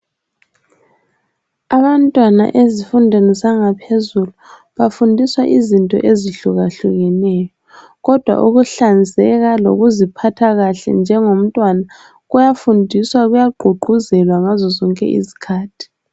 Abantwana ezifundweni zangaphezulu bafundiswa izinto ezihlukahlukeneyo, kodwa ukuhlanzeka lokuziphatha kahle njengomntwana kuyafundiswa kuyagqugquzelwa ngazozonke izikhathi.